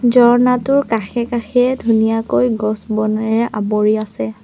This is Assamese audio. ঝৰ্ণাটোৰ কাষে-কাষে ধুনীয়াকৈ গছ-বনেৰে আৱৰি আছে।